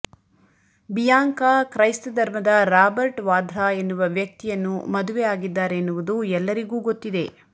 Bianca ಕ್ರೈಸ್ತ ಧರ್ಮದ Robert Vadra ಎನ್ನುವ ವ್ಯಕ್ತಿಯನ್ನು ಮದುವೆ ಆಗಿದ್ದಾರೆನ್ನುವುದು ಎಲ್ಲರಿಗೂ ಗೊತ್ತಿದೆ